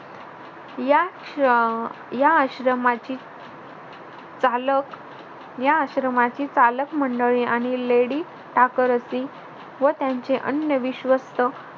या आश्र अह आश्रमाची चालक या आश्रमाची चालक मंडळी आणि लेडीज ठाकरसी व त्यांचे अन्य विश्वस्त